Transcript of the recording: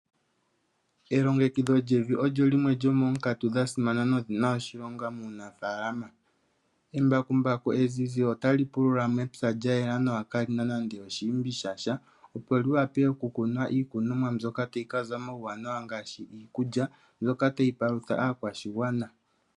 Elongekidho lyevi olyo limwe lyomoonkatu dha simana nodhi na oshilonga muunafalama. Embakumbaku ezizi otali pulula mepya lya yela nawa kaali na nande oshiimbi sha sha, opo li wape okukunwa iikunomwa mbyoka tayi ka za omauwanawa ngaashi iikulya mbyoka tayi palutha aakwashigwana.